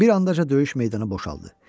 Bir andaca döyüş meydanı boşaldı.